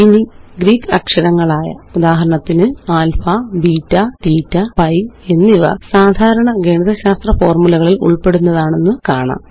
ഇനി ഗ്രീക്ക് അക്ഷരങ്ങളായ ഉദാഹരണത്തിന് ആല്ഫാ ബീറ്റ തീറ്റ പൈ എന്നിവ സാധാരണ ഗണിതശാസ്ത്ര ഫോര്മുലകളില് ഉള്പ്പെടുന്നതാണെന്ന് കാണാം